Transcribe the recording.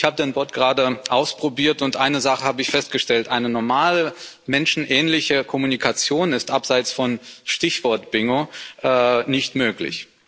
Ich habe den Bot gerade ausprobiert und eine Sache festgestellt Eine normale menschenähnliche Kommunikation ist abseits von Stichwort-Bingo nicht möglich.